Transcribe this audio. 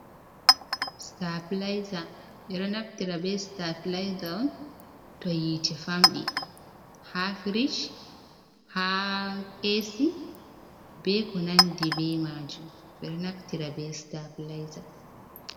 Sitaplayza, ɓe ɗo naftira be sitaplayza on to yiite famɗi haa firic, haa ɓe ko nanndi be maajum, ɓe ɗo naftira be sitaplayza.